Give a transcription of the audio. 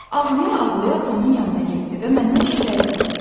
Ağlaya-ağlaya atamın yanına getdi və məndən şikayət etdi.